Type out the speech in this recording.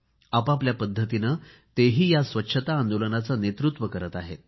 आपापल्या पद्धतीने तेही या स्वच्छता आंदोलनाचे नेतृत्व करीत आहेत